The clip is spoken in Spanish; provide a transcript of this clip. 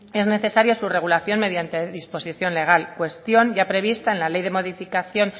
es necesaria su regulación mediante disposición legal cuestión ya prevista en la ley de modificación